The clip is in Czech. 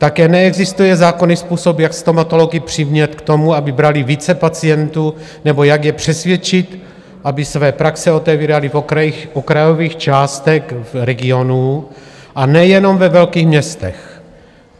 Také neexistuje zákonný způsob, jak stomatology přimět k tomu, aby brali více pacientů, nebo jak je přesvědčit, aby své praxe otevírali v okrajových částech regionů, a nejenom ve velkých městech.